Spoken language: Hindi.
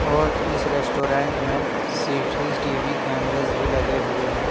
और इस रेस्टोरेंट में सिठी कैमरे भी लगे हुए है।